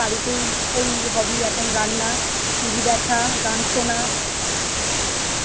বাড়িতেই ওই hobby এখন রান্না TV দেখা, গান শোনা